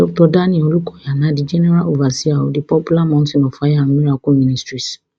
dr daniel olukoya na di general overseer of di popular mountain of fire and miracle ministries